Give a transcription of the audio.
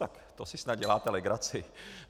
Tak to si snad děláte legraci!